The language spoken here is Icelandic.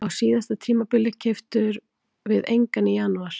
Á síðasta tímabili keyptum við engan í janúar.